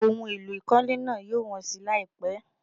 Ohun èlò ìkọ́lé náà yóò wọ́n si láìpẹ́.